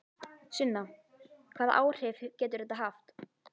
Sunna: Hvaða áhrif getur þetta haft?